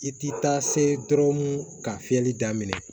I ti taa se dɔrɔn ka fiyɛli daminɛ